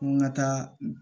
Ko n ka taa